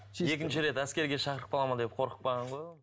екінші рет әскерге шақырып қалады ма деп қорқып қалған ғой ол